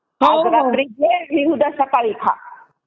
आज रात्री घे आणि उद्या सकाळी खा.